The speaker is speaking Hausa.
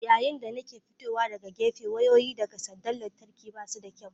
Yayin da nake fitowa daga gefe wayoyi daga sandar lantarki ba su da kyau.